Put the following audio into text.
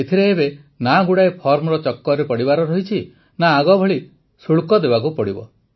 ଏଥିରେ ଏବେ ନା ବହୁତ ଗୁଡ଼ାଏ ଫର୍ମର ଚକ୍କରରେ ପଡ଼ିବାର ଅଛି ନା ଆଗଭଳି ଶୁଳ୍କ ଦେବାକୁ ପଡ଼ିବ